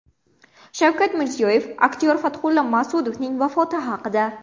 Shavkat Mirziyoyev aktyor Fathulla Mas’udovning vafoti haqida.